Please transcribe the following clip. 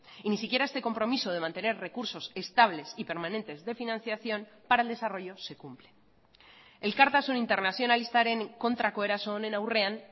y ni siquiera este compromiso de mantener recursos estables y permanentes de financiación para el desarrollo se cumple elkartasun internazionalistaren kontrako eraso honen aurrean